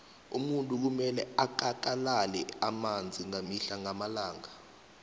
umuntu kumele akakalale amanzi mihle namalanga